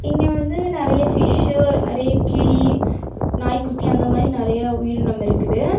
இங்க வந்து நெறைய ஃபிஷ்சு நெறைய கிளி நாய்க்குட்டி அந்த மாறி நெறைய உயிரினம் இருக்குது.